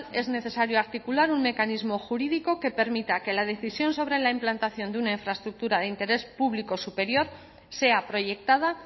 es necesario articular un mecanismo jurídico que permita que la decisión sobre la implantación de una infraestructura de interés público superior sea proyectada